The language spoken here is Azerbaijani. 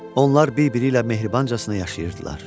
Onlar bir-biri ilə mehribancasına yaşayırdılar.